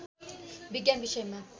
विज्ञान विषयमा